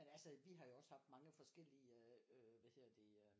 Men altså vi har jo også haft mange forskellige øh hvad hedder det øh